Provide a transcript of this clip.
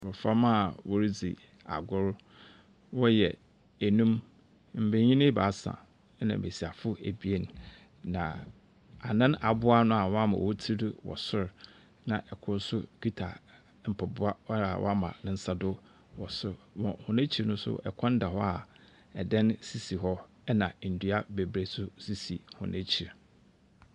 Mboframba a woridzi agor. Wɔyɛ enum, mbenyin ebaasa, na mbesiafo ebien, na anan aboa ano a wɔama hɔn tsir do wɔ so, na kor nso kita mpaboa a ɔama ne nsa do wɔ sor. Na hɔn ekyir no nso, kwan da hɔ a dan sisi hɔ, na ndua beberee nso sisi hɔn ekyir.